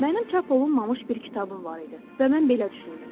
Mənim çap olunmamış bir kitabım var idi və mən belə düşündüm.